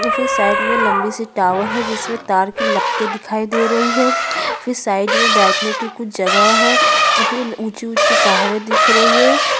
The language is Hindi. साइड में लंबी सी टावर है उधर के लपेटे दिखाई दे रही है फिर साइड में बैठने के कुछ जगह है फिर ऊंची-ऊंची पहाड़े दिख रही है।